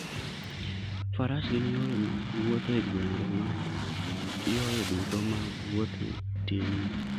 Faras gin yore mag wuoth e gwenge ma yore duto mag wuoth tinie.